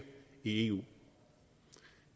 i eu